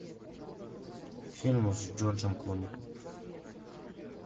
фильмы с джорджем клуни